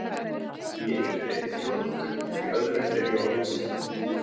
Í einu er ég þjóðnýttur, í öðru fer ég á hausinn.